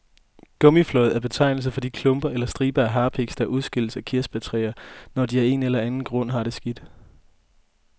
Gummiflåd er betegnelsen for de klumper eller striber af harpiks, der udskilles fra kirsebærtræer, når de af en eller anden grund har det skidt.